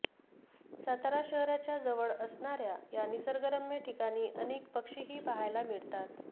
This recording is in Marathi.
सातारा शहराच्या जवळ असणाऱया या निसर्गरम्य ठिकाणी अनेक पक्षीही पाहायला मिळतात